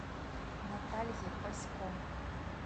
наталье пасько